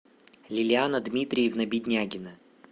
лилиана дмитриевна беднягина